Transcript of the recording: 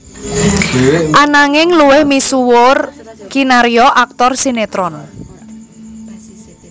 Ananging luwih misuwur kinarya aktor sinétron